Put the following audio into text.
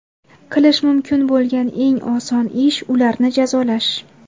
Qilish mumkin bo‘lgan eng oson ish ularni jazolash.